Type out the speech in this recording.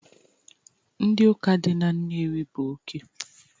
Ndị ụka dị na Nnewi bụ oke